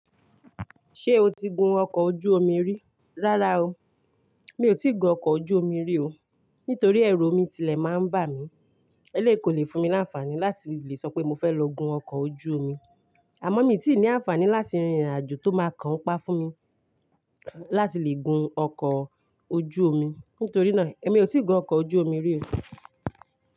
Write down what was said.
Ṣé o ti gun ọkọ̀ ojú omi rí? Rárá o, mi ò tí gun ọkọ̀ ojú omi rí o, nítorí ẹrú omi tilẹ̀ máa ń bà mí. Eléyìí kò lè fún mi láńfàní láti lè sọ pé mo fẹ́ lọ gun ọkọ̀ ojú omi. Àmọ́ mi ti ní àǹfààní láti rìnrìn àjò tó máa kan n pa fún mi láti lè gun ọkọ̀ ojú omi. Nítorí náà, èmi ò tí gun ọkọ̀ ojú omi rí o.